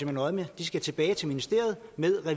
hen øje med de skal tilbage til ministeriet med